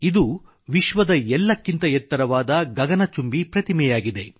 ಇದು ವಿಶ್ವದ ಎಲ್ಲಕ್ಕಿಂತ ಎತ್ತರವಾದ ಗಗನಚುಂಬಿ ಪ್ರತಿಮೆಯಾಗಿದೆ